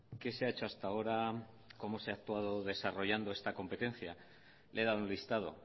qué se ha hecho hasta ahora cómo se ha actuado desarrollado esta competencia le he dado un listado